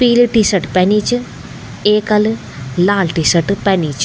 पीली T shirt पैनी च एकल लाल टी शर्ट पैनी च।